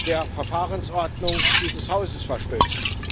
der Verfahrensordnung dieses Hauses verstößt.